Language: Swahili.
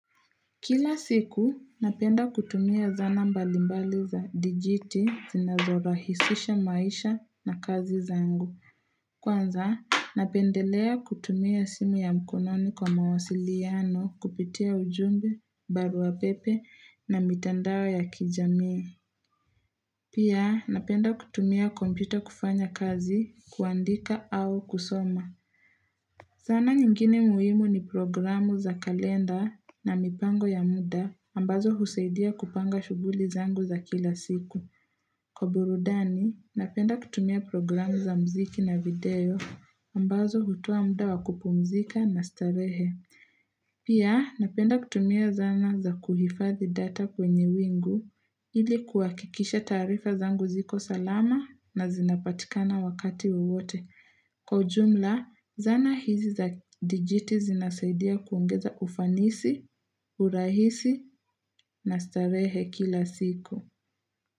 Kila siku, napenda kutumia zana mbalimbali za dijiti zinazorahisisha maisha na kazi za zangu. Kwanza, napendelea kutumia simu ya mkononi kwa mawasiliano kupitia ujumbe, barua pepe na mitandao ya kijamii. Pia, napenda kutumia kompyuta kufanya kazi, kuandika au kusoma. Zana nyingine muhimu ni programu za kalenda na mipango ya muda ambazo husaidia kupanga shughuli zangu za kila siku. Kwa burudani, napenda kutumia programu za muziki na video ambazo hutoa muda wa kupumzika na starehe. Pia, napenda kutumia zana za kuhifadhi data kwenye wingu ili kuhakikisha taarifa zangu ziko salama na zinapatikana wakati wowote. Kwa ujumla, zana hizi za dijiti zinasaidia kuongeza ufanisi, urahisi na starehe kila siku.